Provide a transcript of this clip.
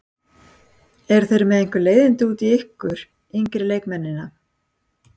Eru þeir með einhver leiðindi út í ykkur yngri leikmennina?